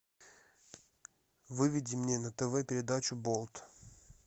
выведи мне на тв передачу болт